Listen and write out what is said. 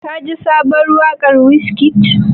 Ka ji sabon waƙar Wizkid?